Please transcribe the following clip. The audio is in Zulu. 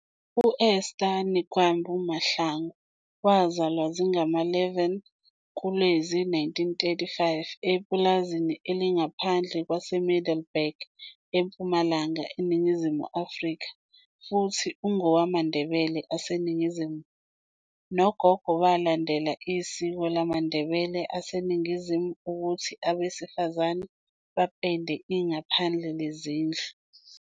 U-Esther Nikwambi Mahlangu wazalwa zingama-11 kuLwezi 1935 epulazini elingaphandle kwaseMiddelburg, eMpumalanga, eNingizimu Afrika, futhi ungowamaNdebele aseNingizimu. nogogo, belandela isiko lamaNdebele aseNingizimu ukuthi abesifazane bapende ingaphandle lezindlu.